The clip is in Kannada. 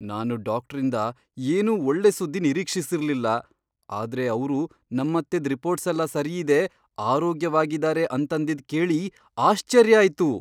ನಾನು ಡಾಕ್ಟ್ರಿಂದ ಏನೂ ಒಳ್ಳೆ ಸುದ್ದಿ ನಿರೀಕ್ಷಿಸಿರ್ಲಿಲ್ಲ. ಆದ್ರೆ ಅವ್ರು ನಮ್ಮತ್ತೆದ್ ರಿಪೋರ್ಟ್ಸೆಲ್ಲ ಸರಿಯಿದೆ, ಆರೋಗ್ಯವಾಗಿದಾರೆ ಅಂತಂದಿದ್ ಕೇಳಿ ಆಶ್ಚರ್ಯ ಆಯ್ತು!